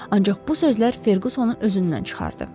Ancaq bu sözlər Ferqusonu özündən çıxardı.